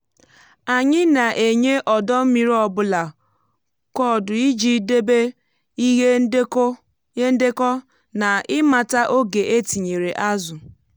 anyị na-enye ọdọ mmiri ọ bụla koodu iji debe ihe ndekọ na ịmata oge e tinyere azụ.